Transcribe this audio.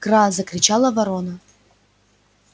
кра закричала ворона